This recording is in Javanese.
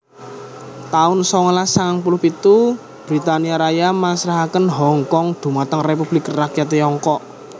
taun songolas sangang puluh pitu Britania Raya masrahaken Hongkong dhumateng Republik Rakyat Tiongkok